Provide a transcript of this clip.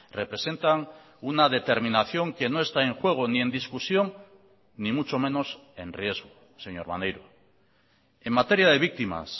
representan una determinación que no está en juego ni en discusión ni mucho menos en riesgo señor maneiro en materia de víctimas